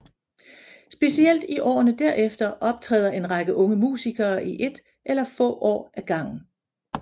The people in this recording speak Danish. Specielt i årene derefter optræder en række unge musikere i ét eller få år ad gangen